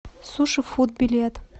суши фуд билет